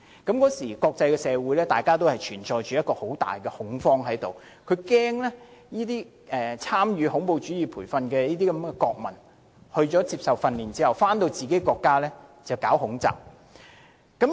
當時國際社會存在很大恐慌，害怕曾參與恐怖主義培訓的國民在接受訓練後，回國發動恐襲。